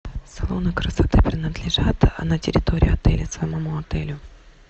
салоны красоты принадлежат на территории отеля самому отелю